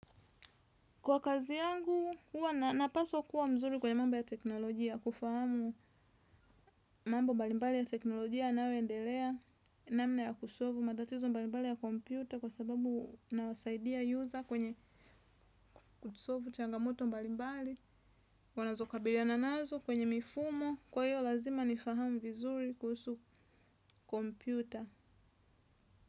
Kwa kazi yangu, huwa napaswa kuwa mzuri kwenye mambo ya teknolojia, kufahamu mambo mbalimbali ya teknolojia yanayo endelea, namna ya kusolvu, matatizo mbalimbali ya kompyuta kwa sababu nawasaidia yuza kwenye kusolvu changamoto mbalimbali, wanazokabiliana nazo kwenye mifumo, kwa hiyo lazima nifahamu vizuri kuhusu kompyuta.